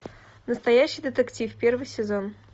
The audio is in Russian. настоящий детектив первый сезон